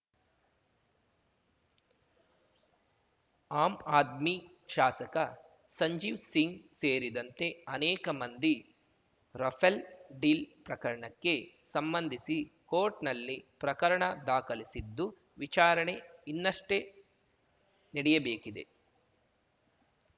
am Aadmi ಶಾಸಕ ಸಂಜೀವ್‌ ಸಿಂಗ್‌ ಸೇರಿದಂತೆ ಅನೇಕ ಮಂದಿ ರಫೇಲ್‌ ಡೀಲ್‌ ಪ್ರಕರಣಕ್ಕೆ ಸಂಬಂಧಿಸಿ ಕೋರ್ಟ್‌ನಲ್ಲಿ ಪ್ರಕರಣ ದಾಖಲಿಸಿದ್ದು ವಿಚಾರಣೆ ಇನ್ನಷ್ಟೇ ನೆಡಿಯಬೇಕಿದೆ